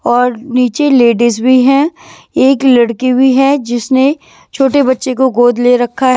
और नीचे लेडीज भी हैं एक लड़की भी है जिसने छोटे बच्चे को गोद ले रखा है।